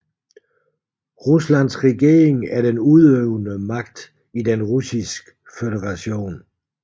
Ruslands regering er den udøvende magt i Den Russiske Føderation